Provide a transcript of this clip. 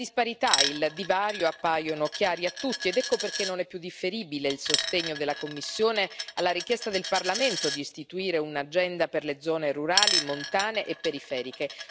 La disparità e il divario appaiono chiari a tutti, ed ecco perché non è più differibile il sostegno della Commissione alla richiesta del Parlamento di istituire un'agenda per le zone rurali, montane e periferiche.